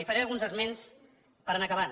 i en faré alguns esments per anar acabant